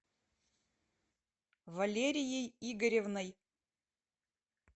валерией игоревной